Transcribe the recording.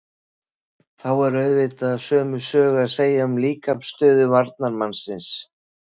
Þá er auðvitað sömu sögu að segja um líkamsstöðu varnarmannsins.